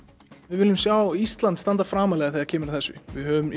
við viljum sjá Ísland standa framarlega þegar kemur að þessu við höfum